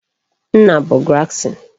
Nna bu garrison